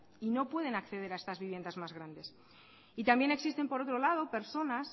y no pueden acceder a estas viviendas más grandes y también existen por otro lado personas